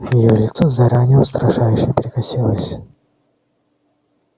её лицо заранее устрашающе перекосилось